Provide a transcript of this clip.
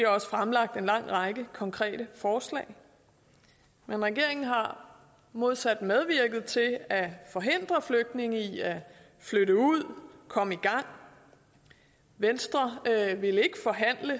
også fremsat en lang række konkrete forslag men regeringen har modsat medvirket til at forhindre flygtninge i at flytte ud og komme i gang venstre ville ikke forhandle